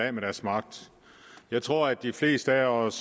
af med deres magt jeg tror de fleste af os